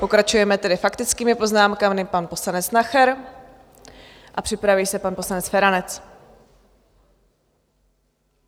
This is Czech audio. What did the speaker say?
Pokračujeme tedy faktickými poznámkami - pan poslanec Nacher a připraví se pan poslanec Feranec.